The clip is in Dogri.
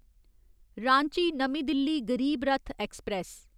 रांची नमीं दिल्ली गरीब रथ ऐक्सप्रैस